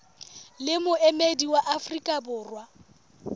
le moemedi wa afrika borwa